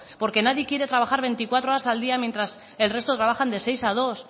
porque nadie quiere trabajar veinticuatro horas al día mientras el resto trabajan de seis a dos